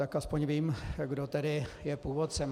Tak aspoň vím, kdo tedy je původcem.